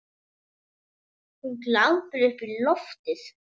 Hún glápir upp í loftið.